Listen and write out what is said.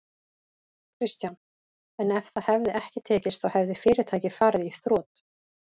Kristján: En ef það hefði ekki tekist þá hefði fyrirtækið farið í þrot?